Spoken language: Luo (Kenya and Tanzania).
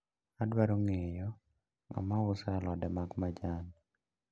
Adwaro ng`eyo ng`ama uso alode ma majan.